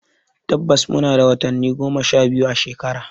Tabbas muna da watanni goma sha biyu a shekara.